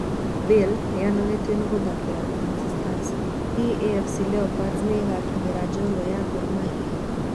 Bale ni anogetio ni gũthakira Ulinzi Stars- Hihi AFC Leopards ni igakinyira njorua ya Gor Mahia?